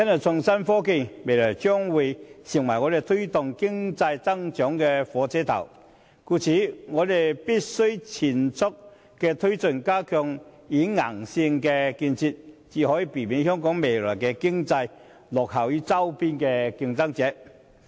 創新科技未來將成為推動經濟增長的火車頭，故此我們必須全速推進相關發展，加強軟件和硬件的建設，才可避免香港未來的經濟發展落後於周邊的競爭者。